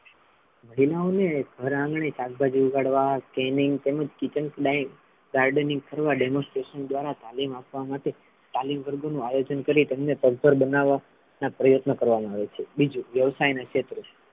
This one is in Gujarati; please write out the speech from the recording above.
મહિલાઓ ને ઘર આંગણે શાકભાજી ઉગાડવા તેમજ kitchen gardening કરવા demonstration દ્વારા તાલિમ આપવા માટે તાલિમ વર્ગનુ આયોજન કરી તેમને પગભર બનાવા ના પ્રયત્નો કરવા મા આવે છે બીજુ વ્યવસાય ના ક્ષેત્રો,